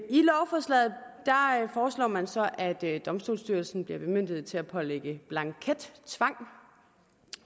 i lovforslaget foreslår man så at domstolsstyrelsen bliver bemyndiget til at pålægge blankettvang